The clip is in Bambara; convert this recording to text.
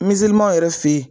Mizlimanw yɛrɛ fe yen